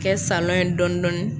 Kɛ salɔn ye dɔɔnin dɔɔnin